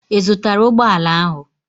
Ị zụtara ụgbọ ala ahụ?